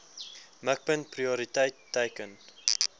mikpunt prioriteit teiken